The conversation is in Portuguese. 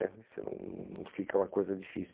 É, isso não não fica uma coisa difícil.